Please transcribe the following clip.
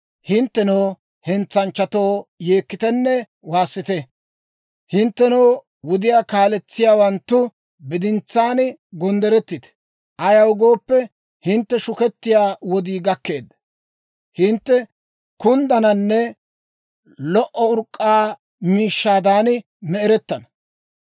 Hinttenoo, hentsanchchatoo, yeekkitenne waassite. Hinttenoo, wudiyaa kaaletsiyaawanttu, bidintsaan gonddorettite. Ayaw gooppe, hintte shukettiyaa wodii gakkeedda; hintte kunddananne lo"o urk'k'aa miishshaadan me"erettana.